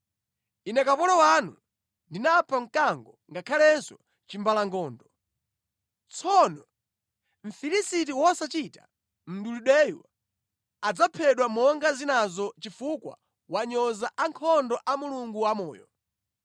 Ine kapolo wanu ndinapha mkango ngakhalenso chimbalangondo. Tsono Mfilisiti wosachita mdulidweyu adzaphedwa monga zinazo chifukwa wanyoza ankhondo a Mulungu wamoyo.